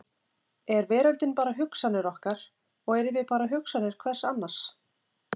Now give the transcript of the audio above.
Er veröldin bara hugsanir okkar og erum við bara hugsanir hvers annars?